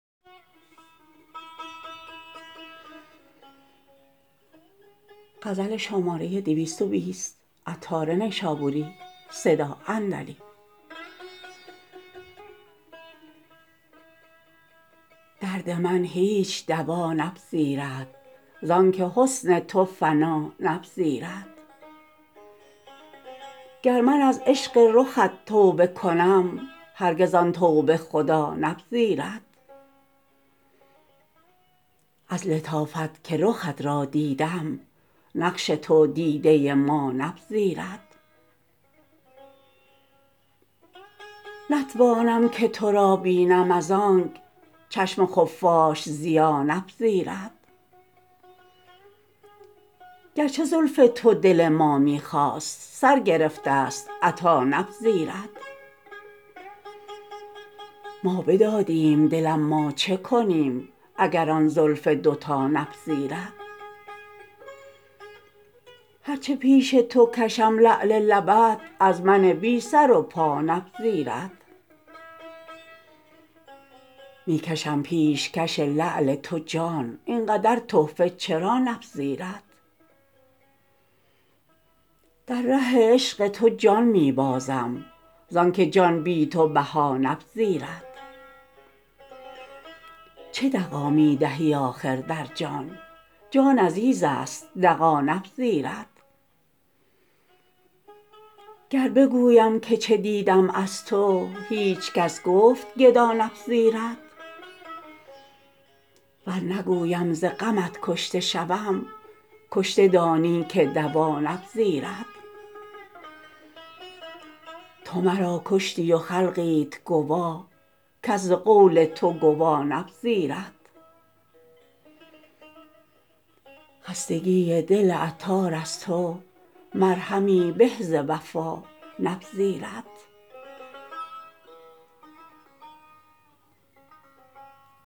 درد من هیچ دوا نپذیرد زانکه حسن تو فنا نپذیرد گر من از عشق رخت توبه کنم هرگز آن توبه خدا نپذیرد از لطافت که رخت را دیدم نقش تو دیده ما نپذیرد نتوانم که تو را بینم از آنک چشم خفاش ضیا نپذیرد گرچه زلف تو دل ما می خواست سر گرفته است عطا نپذیرد ما بدادیم دل اما چه کنیم اگر آن زلف دوتا نپذیرد هرچه پیش تو کشم لعل لبت از من بی سر و پا نپذیرد می کشم پیش کش لعل تو جان این قدر تحفه چرا نپذیرد در ره عشق تو جان می بازم زانکه جان بی تو بها نپذیرد چه دغا می دهی آخر در جان جان عزیز است دغا نپذیرد گر بگویم که چه دیدم از تو هیچکس گفت گدا نپذیرد ور نگویم ز غمت کشته شوم کشته دانی که دوا نپذیرد تو مرا کشتی و خلقیت گواه کس ز قول تو گوا نپذیرد خستگی دل عطار از تو مرهمی به ز وفا نپذیرد